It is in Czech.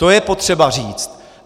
To je potřeba říct.